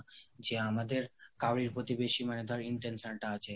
যে আমাদের কারোই প্রতি বেশি মানে ধর intention তা আছে